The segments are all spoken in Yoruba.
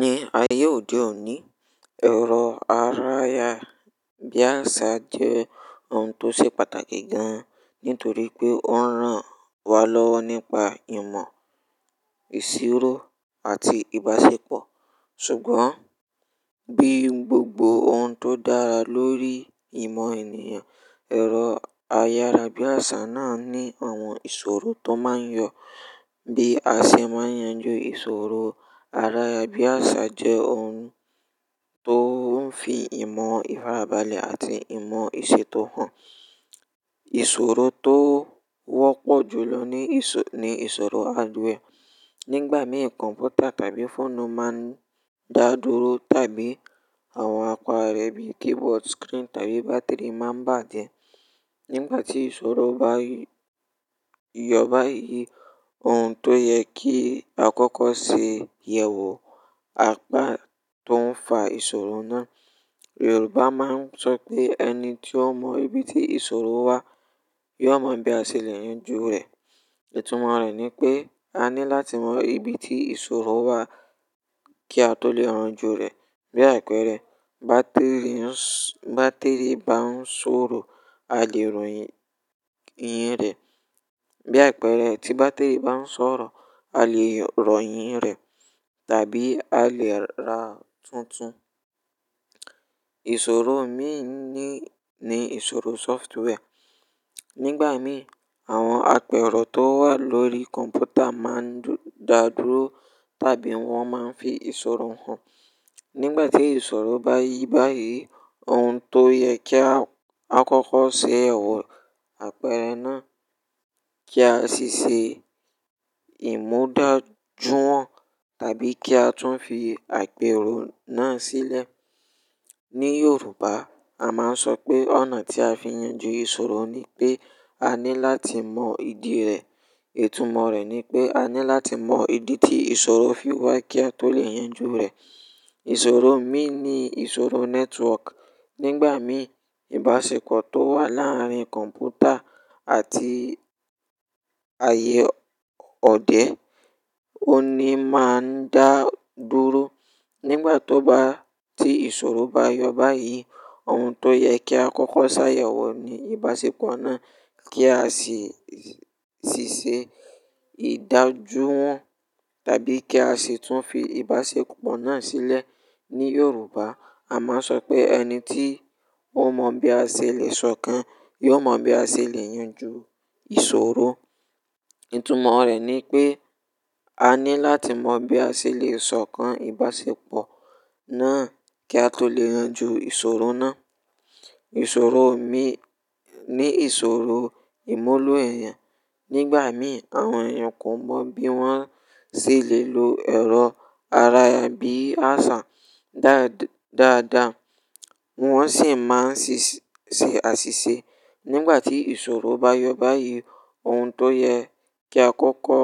Ní ayé òde òní, ẹ̀rọ aráyà-bíàṣá jẹ́ ohun tó ṣe pàtàkì gan-an nítorí pé ó ń ran wa lọ́wọ́ nípa ìmọ̀, ìṣirò àti ìbáṣepọ̀. Ṣùgbọ́n bí gbogbo ohun tó dára lórí ìmọ̀ ènìyàn, ẹ̀rọ ayárabíàṣá náà ní àwọn ìṣòro tó máa ń yọ. Bí a ṣe máa yanjú ìṣòro ayarabíàṣá jẹ́ ohun tó ń fi ìmọ̀ ìfarabalẹ̀ àti ìmọ̀ ìṣètò hàn. Ìṣòro tó wọ́pọ̀ jù lọ ni ìṣòro hardware. Nígbà mìí kọ̀m̀pútà tàbí fóònù máa ń dà dúró tàbí àwọn apa rẹ̀ bíi keyboard, screen tàbí bátìrì máa ń bàjẹ́. Nígbà tí ìṣòro bá yọ báyìí, ohun tó yẹ kí a kọ́kọ́ ṣe yẹ̀wò apá tó ń fa ìṣòro náà. Yorùbá máa ń sọ pé "ẹni tí ó mọ ibi tí ìṣòro wá, yiò mọ bí a ṣe lè yanjú rẹ̀". Ìtumọ̀ rẹ̀ ni pé a ní láti mọ ibi tí ìṣòro wá kí a tó lè yan ju rẹ̀. Bí àpẹẹrẹ bátìrì bá ń ṣòro, a lè rọyìn rẹ̀. Bí àpẹẹrẹ tí bátìrì bá ń ṣọ̀rọ̀, a lè rọyìn rẹ̀ tàbí a lè ra tuntun. Ìṣòro míì ní ìṣòro software. Nígbà mìí àwọn àpẹẹrọ tó wà lórí kọ̀m̀pútà máa ń dà dúró tàbí wọ́n máa ń fi ìṣòro hàn. Nígbà tí ìṣòro bá yí báyìí, ohun tó yẹ kí a kọ́kọ́ ṣe, ẹ we àpẹẹrẹ náà kí a sì ṣe ìmudájú wọn tàbí kí a tún fi àpẹẹrọ náà sílẹ̀. Ní Yorùbá a máa ń sọ pé "ọ̀nà tí a fi yanjú ìṣòro ni pé a ní láti mọ ìdí rẹ̀". Ìtumọ̀ rẹ̀ ni pé a ní láti mọ ìdí tí ìṣòro fi wá kí a tó lè yanjú rẹ̀. Ìṣòro mìi ni ìṣòro network. Nígbà mìí ìbáṣepọ̀ tó wà láàárín kọ̀m̀pútà àti ààyè ọdẹ òní máa ń dà dúró. Nígbà to ba tí ìṣòro bá yọ báyìí, ohun tó yẹ kí a kọ́kọ́ ṣàyẹ̀wò ni ìbáṣepọ̀ náà kí a sì ṣe ìdájuwọn tàbí kí a sì tún fi ìbáṣepọ̀ náà sílẹ̀. Ní Yorùbá a máa ń sọ pé "ẹni tí ó mọ bí a ṣe lè sọ̀kan, yóò mọ bí a ṣe lè yanjú ìṣòro". Ìtumọ̀ rẹ̀ ni pé a ní láti mọ bí a ṣe lè sọ̀kan ìbáṣepọ̀ náà kí a tó lè yan ju ìṣòro náà. Ìṣòro mìíì ni ìṣòro ìmuló ẹ̀yàn. Nígbà mìí àwọn èèyàn kò mọ̀ bí wọ́n ṣe lè lo ẹ̀rọ aráyà-bíàṣá dáadáa, wọ́n sì máa ń ṣe àṣìṣe. Nígbà tí ìṣòro bá yọ báyìí, ohun tó yẹ kí a kọ́kọ́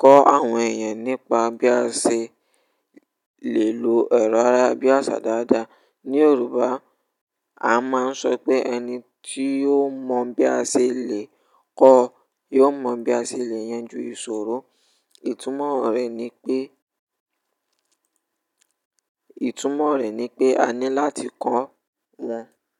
kọ́ àwọn èèyàn nípa bí a ṣe lè lo ẹ̀rọ aráyà-bíàṣá dáadáa. Ní Yorùbá a máa ń sọ pé "ẹni tí ó mọ bí a ṣe lè kọ́, yiò mọ bí a ṣe lè yanjú ìṣòro". Ìtumọ̀ rẹ̀ ni pé a ní láti kọ́ wọn.